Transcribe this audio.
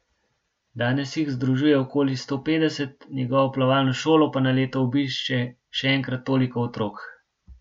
Danes jih združuje okoli sto petdeset, njegovo plavalno šolo pa na leto obišče še enkrat toliko otrok.